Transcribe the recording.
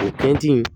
O tɛntɛn